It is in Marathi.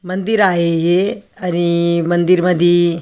मंदिर आहे हे आणि मंदिर मधी --